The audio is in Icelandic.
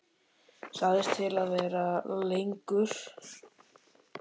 Sagðist til í að vera lengur.